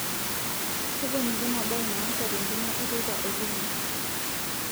tponiki ena mbae naasa te ntumo eteipa o juma